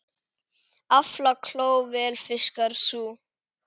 Aflakló vel fiskar sú.